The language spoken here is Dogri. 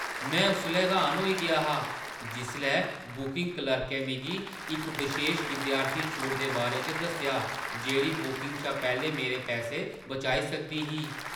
में उसलै र्‌हान होई गेआ हा जिसलै बुकिंग क्लर्कै मिगी इक बशेश विद्यार्थी छूट दे बारे च दस्सेआ जेह्ड़ी बुकिंग शा पैह्‌लें मेरे पैसे बचाई सकदी ही।